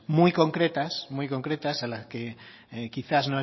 muy concretas a las que quizá